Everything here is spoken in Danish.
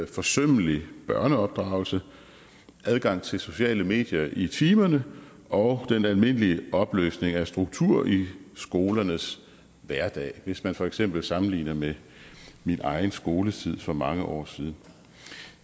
forsømmelig børneopdragelse adgang til sociale medier i timerne og den almindelige opløsning af struktur i skolernes hverdag hvis man for eksempel sammenligner med min egen skoletid for mange år siden